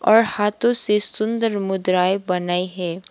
और हाथों से सुंदर मुद्राएं बनाई है।